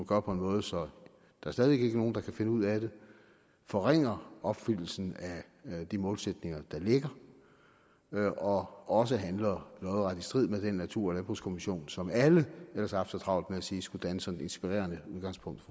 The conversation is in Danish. gør på en måde så der stadig væk ikke er nogen der kan finde ud af det forringer opfyldelsen af de målsætninger der ligger og også handler lodret i strid med den natur og landbrugskommission som alle ellers har haft så travlt med at sige skulle danne sådan et inspirerende udgangspunkt